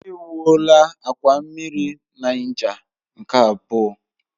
Ewuola akwa mmiri Niger nke abụọ.